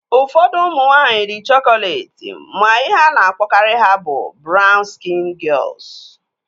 Ụfọdụ ụmụ nwaanyị dị chokolet ma ihe a na-akpọkarị ha bụ brawn skịn gịels